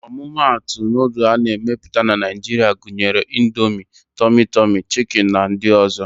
Ọmụmatụ nudul a na-emepụta na Naịjiria gunyere: Indomie, tọmị tọmị, chiki na ndị ọ̀zọ́.